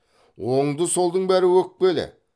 оңды солдың бәрі өкпелі